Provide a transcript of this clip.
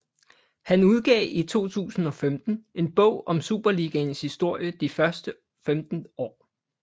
Han udgav i 2005 en bog om Superligaens historie de første 15 år